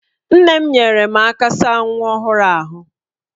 Nne m nyeere m aka saa nwa ọhụrụ m ahụ